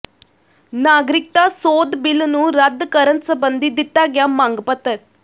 ਨਾਗਰਿਕਤਾ ਸੋਧ ਬਿਲ ਨੂੰ ਰੱਦ ਕਰਨ ਸਬੰਧੀ ਦਿੱਤਾ ਗਿਆ ਮੰਗ ਪੱਤਰ